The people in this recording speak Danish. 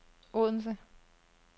Odense